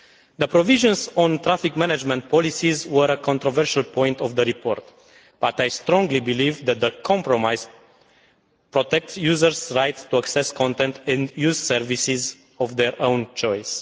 The provisions on traffic management policies were a controversial point in the report, but I strongly believe that the compromise protects users' rights to access content and use services of their own choice.